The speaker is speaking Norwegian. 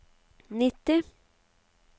nitti